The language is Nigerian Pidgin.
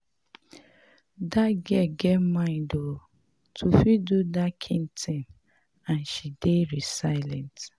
Dat girl get mind oo to fit do dat kin thing and she dey resilient